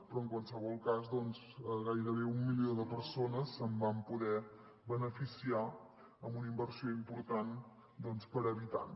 però en qualsevol cas gairebé un milió de persones se’n van poder beneficiar amb una inversió important per habitant